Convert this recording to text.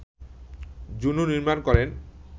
Juno নির্মাণ করেন